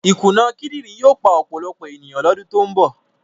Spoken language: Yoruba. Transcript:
Ìkùnà kíndìnrín yóò pa ọ̀pọ̀lọpọ̀ ènìyàn lọ́dún tó ń bọ̀.